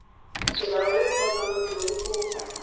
melao e e tshwanetseng go